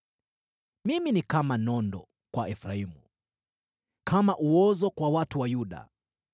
Mimi ni kama nondo kwa Efraimu, na kama uozo kwa watu wa Yuda.